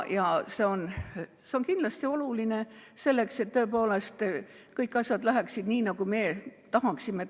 On kindlasti oluline, et tõepoolest asjad läheksid nii, nagu me tahame.